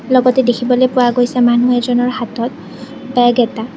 লগতে দেখিবলৈ পোৱা গৈছে মানুহ এজনৰ হাতত বেগ এটা।